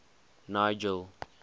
nigel